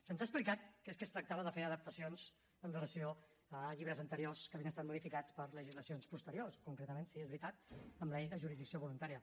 se’ns ha explicat que és que es tractava de fer adaptacions amb relació a llibres anteriors que havien estat modificats per legislacions posteriors concretament sí és veritat amb la llei de jurisdicció voluntària